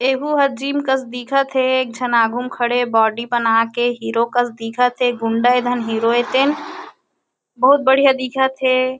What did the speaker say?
ए हु ह जिम कस दिखा थे एक झन आघु मा खड़े बॉडी बना के हीरो कस दिखत हे। गुण्डा हे धन हिरो हे तेन बहुत बड़िया दिखत हे ।